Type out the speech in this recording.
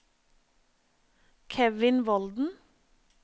Kevin Volden